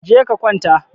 Je ka kwanta!